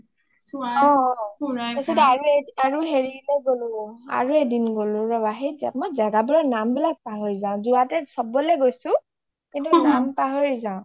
তাৰপিছত আৰু হেৰিলৈ গ’লো, আৰু এদিন গ’লো ৰবা , মই জাগাবোৰৰ নামবিলাক পাহৰি যাও , যোৱাটে চবলে গৈছো কিন্তু নাম পাহৰি যাও